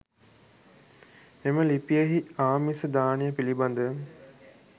මෙම ලිපියෙහි ආමිස දානය පිළිබඳ